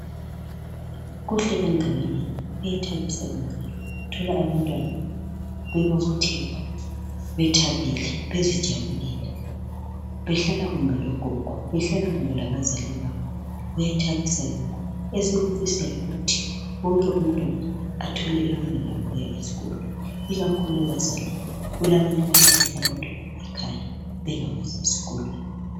Kuhle kangakanani, kuyathabisa kangakanani ukuthola abantwana bebobotheka, bethabile bezijabulela, behlala kumbe logogo, behlala kumbe labazali bababo. Kuyathabisa lokho. Esikufisayo yikuthi wonke umntwana athole ilungelo lokuya esikolo, ikakhulu ebazalini, kulabanye abahlalisa abantwana ekhaya bengabasi esikolo.